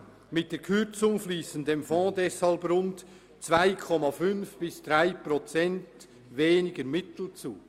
Mit der Kürzung fliessen dem Fonds rund 2,5 bis 3 Prozent weniger Mittel zu.